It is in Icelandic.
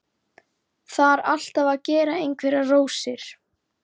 Þarf alltaf að gera einhverjar rósir.